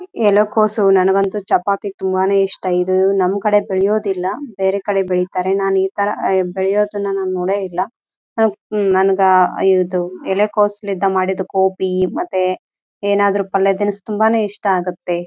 ಹೂ ಕೋಸಿಯಲ್ಲಿ ಈಗ ಬಾರಿ ರೇಟಿದೆ .